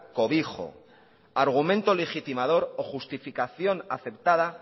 cobijo argumento legitimador o justificación aceptada